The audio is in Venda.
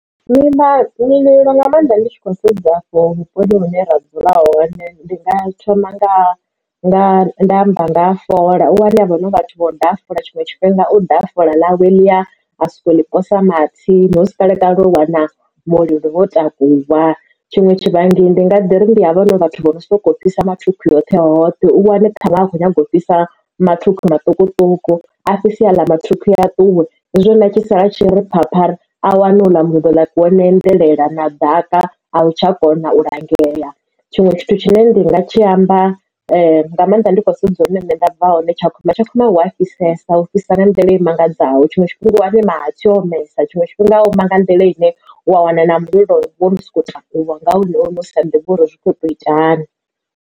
Nga maanḓa ndi tshi khou sedza afho vhuponi hune ra dzulaho ndi nga thoma nga nga amba nga ha fola. U wane avho vhathu vho daha fola tshiṅwe tshifhinga u daha fola ḽawe ḽi ya a soko ḽi posa mahatsini hu si kalekale u wana mulilo wo takuwa. Tshiṅwe tshivhangi ndi nga ḓiri ndi havha na vhathu vho no sokou fhisa mathukhwi hoṱhe hoṱhe u wane ṱhanwe a kho nyaga u fhisa mathukhwi maṱukuṱuku a fhisa aḽa mathukhwi a ṱuwe nazwo u tshisala u tshi ri phapha a wane u ḽa mulilo wo no endelela na ḓaka a u tsha kona u langea. Tshiṅwe tshithu tshine ndinga tshi amba nga maanḓa ndi khou sedza hune nṋe nda bva hoṋe tshakhuma tshakhuma hu a fhisesa hu fhisa nga nḓila i mangadzaho tshiṅwe tshifhinga u wane mahatsi o omesa tshiṅwe tshifhinga u nga nḓila ine wa wana na mulilo wo no soko takuwa nga hune uri musi sa ḓivhi uri zwi kho to ita hani.